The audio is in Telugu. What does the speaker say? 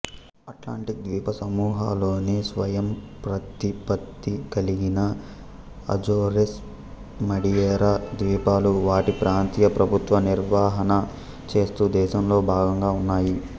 అట్లాంటిక్ ద్వీపసముహాలోని స్వయంప్రతిపత్తి కలిగిన అజోరెస్ మడియేరా ద్వీపాలు వాటి ప్రాంతీయ ప్రభుత్వ నిర్వహణ చేస్తూ దేశంలో భాగంగా ఉన్నాయి